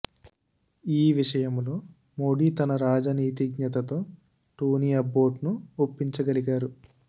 ఈ విషయంలో మోడీ తన రాజనీతిజ్ఞత తో టోనీ అబ్బోట్ ను ఒప్పించగలిగారు